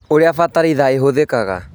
ũrĩa bataraitha ĩhũthĩkaga